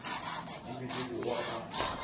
di be di bogwa ka